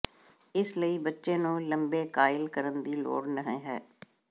ਇਸ ਲਈ ਬੱਚੇ ਨੂੰ ਲੰਬੇ ਕਾਇਲ ਕਰਨ ਦੀ ਲੋੜ ਨਹ ਹੈ